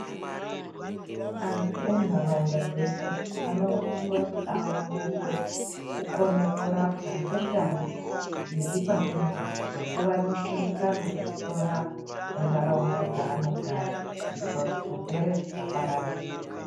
Antu enharaunda dzeshe anosise kuti aoneswe kukone kurapa ngendau iri padhuze nekuwaniswe mukana wekutorapwa mundaraunda dzaanogara kuitira kuti zvirwere zvisapararira.